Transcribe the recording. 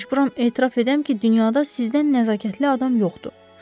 Məcburam etiraf edəm ki, dünyada sizdən nəzakətli adam yoxdur.